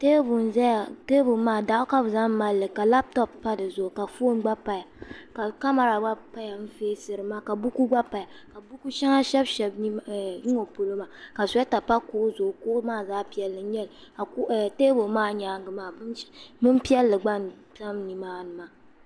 teebuli n ʒɛya teebuli maa doɣu ka bi zaŋ malili ka labtop pa dizuɣu ka foon gba paya ka kamɛra gba paya n feesiri ma ka buku gba paya ka buku shɛŋa shɛbi shɛbi n ŋɔ polo maa suyeeta pa kuɣu zuɣu kuɣu maa zaɣ piɛlli n nyɛli ka teebuli maa gba nyaangi maa bin piɛlli gba n tam nimaani maa